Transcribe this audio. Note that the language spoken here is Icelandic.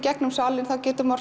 salinn getur maður